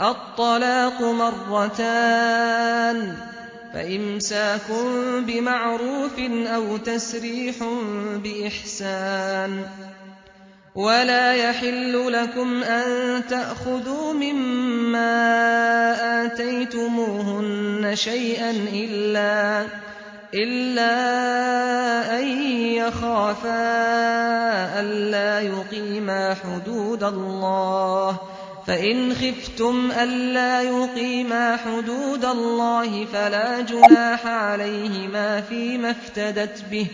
الطَّلَاقُ مَرَّتَانِ ۖ فَإِمْسَاكٌ بِمَعْرُوفٍ أَوْ تَسْرِيحٌ بِإِحْسَانٍ ۗ وَلَا يَحِلُّ لَكُمْ أَن تَأْخُذُوا مِمَّا آتَيْتُمُوهُنَّ شَيْئًا إِلَّا أَن يَخَافَا أَلَّا يُقِيمَا حُدُودَ اللَّهِ ۖ فَإِنْ خِفْتُمْ أَلَّا يُقِيمَا حُدُودَ اللَّهِ فَلَا جُنَاحَ عَلَيْهِمَا فِيمَا افْتَدَتْ بِهِ ۗ